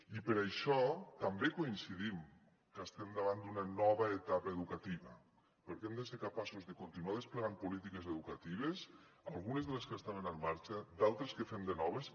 i per això també coincidim que estem davant d’una nova etapa educativa perquè hem de ser capaços de continuar desplegant polítiques educatives algunes de les que estaven en marxa d’altres que fem de noves